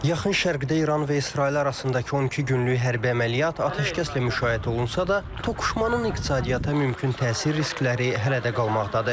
Yaxın Şərqdə İran və İsrail arasındakı 12 günlük hərbi əməliyyat atəşkəslə müşayiət olunsa da, toqquşmanın iqtisadiyyata mümkün təsir riskləri hələ də qalmaqdadır.